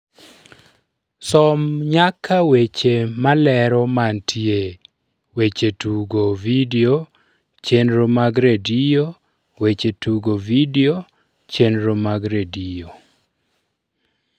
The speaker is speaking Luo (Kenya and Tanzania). som nyaka weche malero mantie weche tugo vidio chenro mag redio weche tugo vidio chenro mag redio